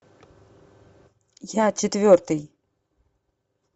я четвертый